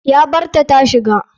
Ya barta tashiga.